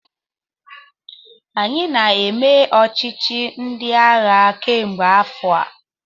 Anyị na-eme ọchịchị ndị agha kemgbe afọ a.